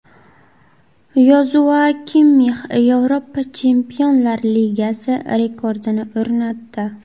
Yozua Kimmix Yevropa Chempionlar Ligasi rekordini o‘rnatdi.